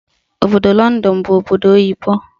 Obodo Lọndọn bụ obodo oyibo.